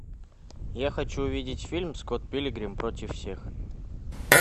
я хочу увидеть фильм скотт пилигрим против всех